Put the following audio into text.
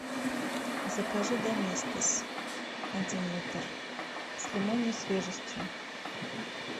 закажи доместос один литр с лимонной свежестью